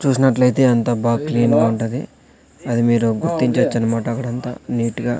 చూసినట్లయితే అంతా బాగా క్లీన్ గా ఉంటది అది మీరు గుర్తించొచ్చు అన్నమాట అక్కడంతా నీటుగా .